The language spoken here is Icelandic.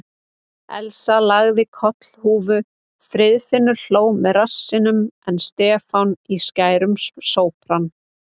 Elsa lagði kollhúfur, Friðfinnur hló með rassinum en Stefán í skærum sópran.